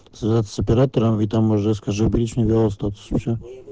связаться с оператором и там уже скажи причину остаться уже